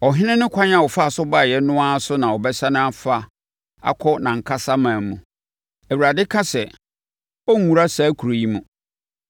Ɔhene no kwan a ɔfaa so baeɛ no ara so na ɔbɛsane afa akɔ nʼankasa ɔman mu.” Awurade ka sɛ, “Ɔrenwura saa kuro yi mu.